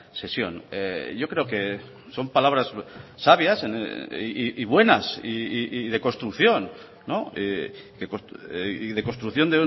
sesión yo creo que son palabras sabias y buenas y de construcción y de construcción